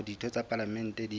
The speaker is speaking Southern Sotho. hore ditho tsa palamente di